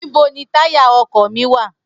nibo ni taya ọkọ mi wa?